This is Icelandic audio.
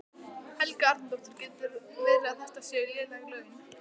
Helga Arnardóttir: Getur verið að þetta séu léleg laun?